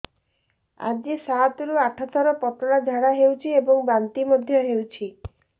ଆଜି ସାତରୁ ଆଠ ଥର ପତଳା ଝାଡ଼ା ହୋଇଛି ଏବଂ ବାନ୍ତି ମଧ୍ୟ ହେଇଛି